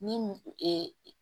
Ni